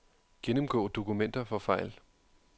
Gennemgå dokumenter for fejl.